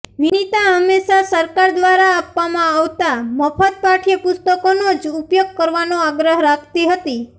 વિનિતા હંમેશા સરકાર દ્વારા આપવામાં આવતા મફત પાઠય પુસ્તકોનો જ ઉપયોગ કરવાનો આગ્રહ રાખતી હતી